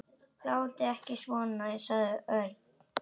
Látið ekki svona sagði Örn.